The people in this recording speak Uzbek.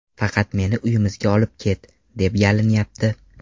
Faqat meni uyimizga olib ket”, deb yalinyapti.